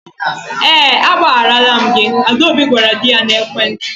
Ee agbagharala m gị, Adaobi gwara di ya n'ekwentị.